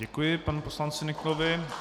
Děkuji panu poslanci Nyklovi.